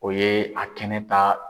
O ye a kɛnɛ ta